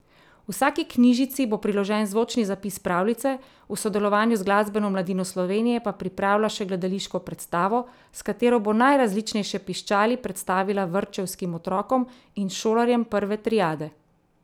Vsaki knjižici bo priložen zvočni zapis pravljice, v sodelovanju z Glasbeno mladino Slovenije pa pripravlja še gledališko predstavo, s katero bo najrazličnejše piščali predstavila vrtčevskim otrokom in šolarjem prve triade.